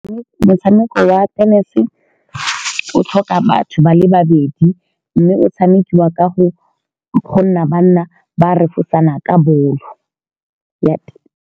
Motshameko wa tennis-e o tlhoka batho ba le babedi, mme o tshamekiwa ka go-go nna ba nna ba refosana ka bolo ya .